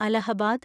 Allahabad